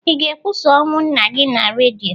Ị ga-ekwusa ọnwụ nna gị na redio?